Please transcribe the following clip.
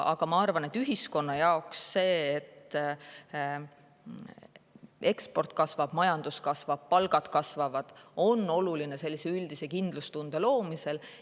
Aga ma arvan, et ühiskonna jaoks see, et eksport kasvab, majandus kasvab ja palgad kasvavad, on oluline üldise kindlustunde loomisel.